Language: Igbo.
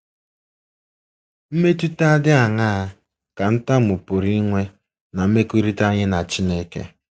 Mmetụta dị aṅaa ka ntamu pụrụ inwe ná mmekọrịta anyị na Chineke?